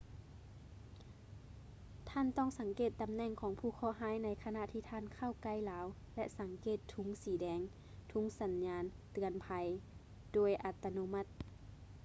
ທ່ານຕ້ອງສັງເກດຕຳແໜ່ງຂອງຜູ້ເຄາະຮ້າຍໃນຂະນະທີ່ທ່ານເຂົ້າໃກ້ລາວ ແລະ ສັງເກດທຸງສີແດງ ທຸງສັນຍານເຕືອນໄພ ໂດຍອັດຕະໂນມັດ